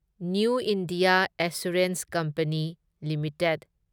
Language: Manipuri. new India assurance company limited